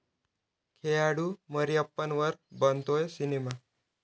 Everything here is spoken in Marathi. खेळाडू मरियप्पनवर बनतोय सिनेमा